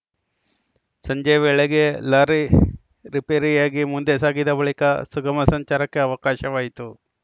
ಸಂಜೆ ವೇಳೆಗೆ ಲಾರಿ ರಿಪೇರಿಯಾಗಿ ಮುಂದೆ ಸಾಗಿದ ಬಳಿಕ ಸುಗಮ ಸಂಚಾರಕ್ಕೆ ಅವಕಾಶವಾಯಿತು